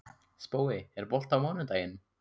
Spói, er bolti á mánudaginn?